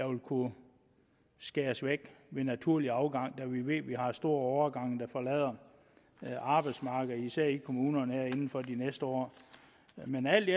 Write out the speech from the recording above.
vil kunne skæres væk ved naturlig afgang da vi ved at vi har store årgange der forlader arbejdsmarkedet især i kommunerne her inden for de næste år men alt i